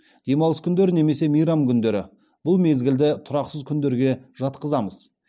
демалыс күндері немесе мейрам күндері бұл мезгілді тұрақсыз күндерге жатқызамыз